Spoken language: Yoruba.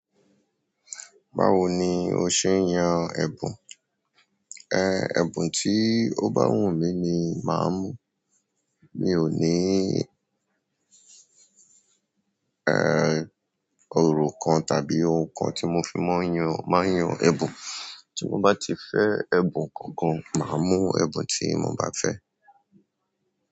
Báwo ni o ṣe yan ẹ̀bùn? Ehn, ẹ̀bùn tí ó bá wù mí ni màá mú. Mi ò ní eh, orò kan tàbí ohun kan tí mo fi máa ń yan, máa ń yan ẹ̀bùn. Tí mo bá ti fẹ́ ẹ̀bùn kankan, màá mú ẹ̀bùn tí mo bá fẹ́.